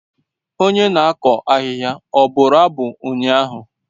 Onye na-akụ ahịhịa ọ bụrụ abụ ụnyaahụ?